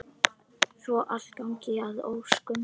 Svo allt gangi að óskum.